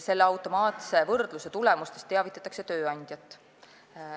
Selle automaatse võrdluse tulemustest teavitatakse tööandjat.